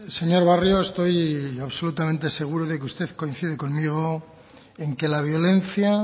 señor barrio estoy absolutamente seguro de que usted coincide conmigo en que la violencia